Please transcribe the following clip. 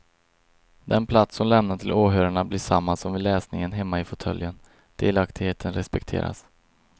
Den plats hon lämnar till åhörarna blir samma som vid läsningen hemma i fåtöljen, delaktigheten respekteras.